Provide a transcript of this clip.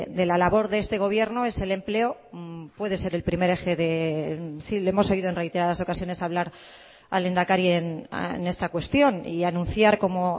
de la labor de este gobierno es el empleo puede ser el primer eje sí le hemos oído en reiteradas ocasiones hablar al lehendakari en esta cuestión y anunciar como